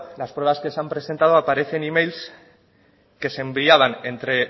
las pruebas que se han presentado aparecen emails que se enviaban entre